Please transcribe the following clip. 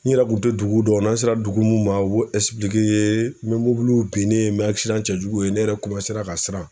N yɛrɛ kun te duguw dɔn. N'an sera dugu mun ma u b'o ye, n be mobiliw binnen, n be cɛjuguw ye, ne yɛrɛ ra ka siran.